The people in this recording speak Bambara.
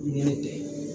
Ɲinɛ tɛ